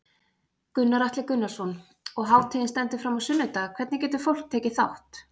Gunnar Atli Gunnarsson: Og hátíðin stendur fram á sunnudag, hvernig getur fólk tekið þátt?